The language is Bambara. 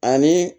Ani